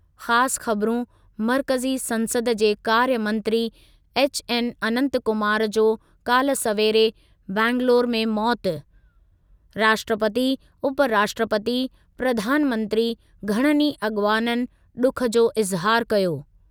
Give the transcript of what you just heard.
ख़ासि ख़बरुं मर्कज़ी संसद जे कार्य मंत्री एच एन अंनत कुमार जो काल्ह सवेरे बंगलुरु में मौति: राष्ट्रपती, उपराष्ट्रपती, प्रधानमंत्री घणनि ई अॻवाननि ॾुख जो इज़हार कयो।